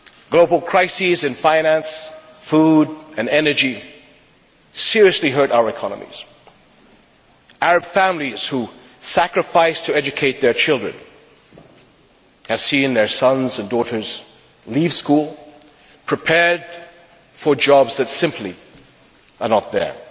Global crises in finance, food and energy seriously hurt our economies. Arab families who sacrificed to educate their children have seen their sons and daughters leave school, prepared for jobs that simply are not there.